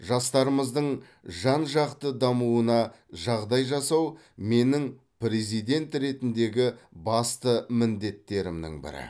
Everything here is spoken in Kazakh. жастарымыздың жан жақты дамуына жағдай жасау менің президент ретіндегі басты міндеттерімнің бірі